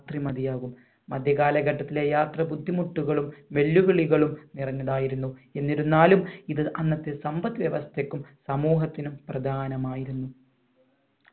ത്രി മതിയാകും മധ്യ കാലഘട്ടത്തിലെ യാത്ര ബുദ്ധിമുട്ടുകളും വെല്ലുവിളികളും നിറഞ്ഞതായിരുന്നു എന്നിരുന്നാലും ഇത് അന്നത്തെ സമ്പത് വ്യവസ്ഥക്കും സമൂഹത്തിനും പ്രധാനമായിരുന്നു